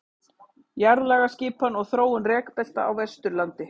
Jarðlagaskipan og þróun rekbelta á Vesturlandi.